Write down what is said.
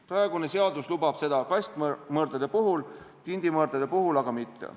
Praegune seadus lubab seda kastmõrdade puhul, tindimõrdade puhul aga mitte.